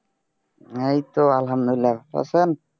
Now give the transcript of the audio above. এইতো আলহামদুলিল্লাহ ভালো আছেন